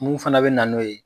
Mun fana bɛ na n'o ye